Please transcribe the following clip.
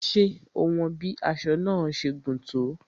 Ṣé o won bí aṣọ náà ṣe gùn tó?